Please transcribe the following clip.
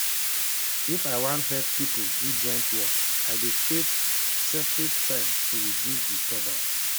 if i wan help people do joint work i dey creat separete time to reduce disturbance